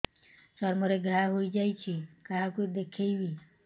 ଚର୍ମ ରେ ଘା ହୋଇଯାଇଛି କାହାକୁ ଦେଖେଇବି